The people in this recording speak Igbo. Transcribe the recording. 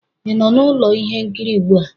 ị nọ na ụlọ ihe nkiri ugbu a?